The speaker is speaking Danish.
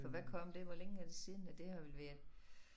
For hvad kom det hvor længe er det siden ja det har vel været